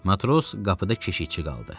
Matros qapıda keşiyçi qaldı.